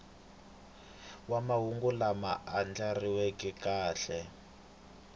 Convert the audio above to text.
wa mahungu lama andlariweke kahle